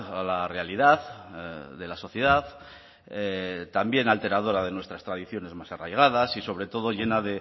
a la realidad de la sociedad también alteradora de nuestras tradiciones más arraigadas y sobre todo llena